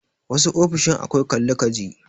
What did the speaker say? Wasu ofishin akwai Kalli ka ji.